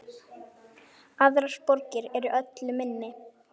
Aðrar borgir eru öllu minni.